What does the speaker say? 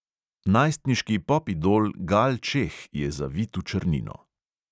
Najstniški pop idol gal čeh je zavit v črnino.